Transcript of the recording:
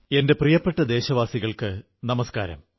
എന്റെ പ്രിയപ്പെട്ട ദേശവാസികൾക്കു നമസ്കാരം